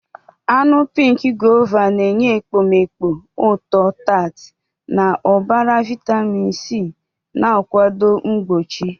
Anụ pink Guava na-enye ekpomeekpo ụtọ-tart na ụbara vitamin C, na-akwado mgbochi.